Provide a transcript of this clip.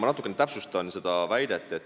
Ma natukene täpsustan seda väidet.